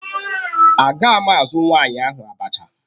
A ga m azụ nwaanyị ahụ abacha.